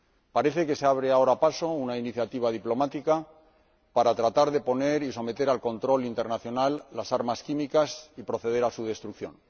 Parece que se abre ahora paso una iniciativa diplomática para tratar de someter al control internacional las armas químicas y proceder a su destrucción.